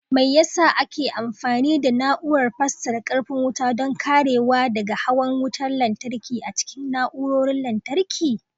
Me yasa ake amfani da Na'urar fasarar karfin wuta don karewa daga hawan wutar lantarki a cikin na'urorin lantarki?